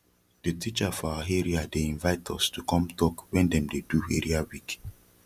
de teacher for our area dey invite us to come talk wen dem dey do area week